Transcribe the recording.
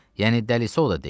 Yəni dəlisov da deyil.